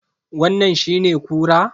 Wannan shine kura?